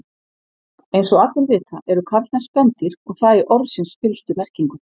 Eins og allir vita eru karlmenn spendýr og það í orðsins fyllstu merkingu.